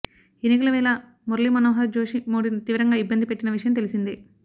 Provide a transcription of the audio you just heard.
ఎన్నికల వేళ మురళీమనోహర్ జోషి మోడీని తీవ్రంగా ఇబ్బంది పెట్టిన విషయం తెలిసిందే